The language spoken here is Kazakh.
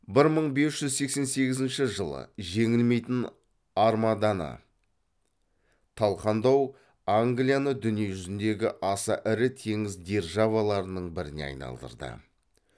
бір мың бес жүз сексен сегізінші жылы жеңілмейтін армаданы талқандау англияны дүние жүзіндегі аса ірі теңіз державаларының біріне айналдырды